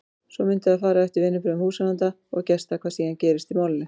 Svo mundi það fara eftir viðbrögðum húsráðenda og gesta hvað síðan gerist í málinu.